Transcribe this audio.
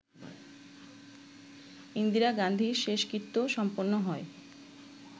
ইন্দিরা গান্ধীর শেষকৃত্য সম্পন্ন হয়